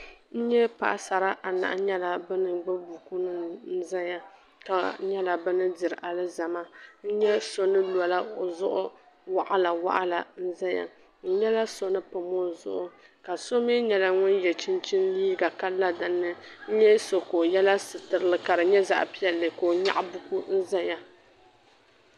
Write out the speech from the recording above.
N nyɛ paɣisara anahi nyɛla ban gbubi buku nim nzaya, ka nyala bini diri alizama.ŋn nyɛ so ni lɔ ozuɣu waɣila waɣla nzaya nyala so ni pam ozuɣu, ka somi nyɛla ŋun ye chinchini liiga ka la dinni, n nya so ka oyela sitirili ka di nyɛ zaɣi piɛli ka o nyaɣi buku n zaya.